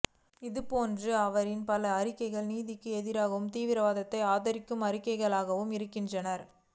இது போன்ற அவரின் பல அறிக்கைகள் நீதிக்கு எதிரானதாகவும் தீவிரவாதத்தை ஆதரிக்கும் அறிக்கைகளாகவும் இருக்கின்றன